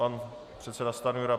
Pan předseda Stanjura.